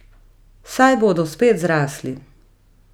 Saj bodo spet zrasli.